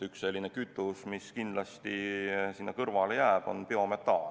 Üks kütus, mis kindlasti alles jääb, on biometaan.